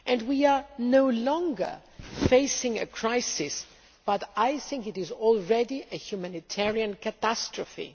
We are no longer facing a crisis but what I think is already a humanitarian catastrophe.